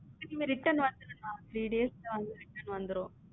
திரும்ப return வந்துடுமா three days ல வந்து return வந்துரும்.